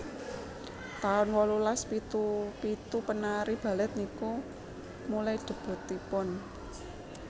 taun wolulas pitu pitu penari Balet niku milai debutipun